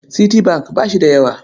Citibank ba shi da yawa.